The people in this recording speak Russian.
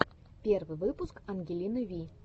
первый выпуск ангелины ви